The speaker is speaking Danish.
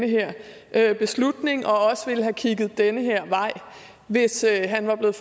her beslutning og også ville have kigget den her vej hvis han var blevet